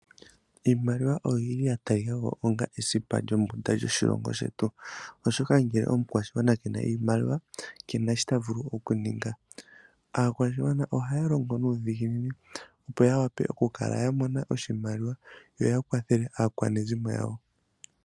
Iimaliwa oyili tayi longo ongaa esipa lyombunda lyoshilongo shetu oshoka ngele omukwashigwana kena iimaliwa kena shi ta vulu okuninga. Aakwashigwana ohaya longo nuudhiginini opo ya wa pe okukala ya mona oshimaliwa yo ya kwathele aakwanezimo yawo.